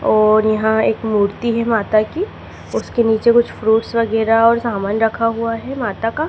और यहां एक मूर्ति है माता की उसके नीचे कुछ फ्रूट्स वगैरा और सामान रखा हुआ है माता का।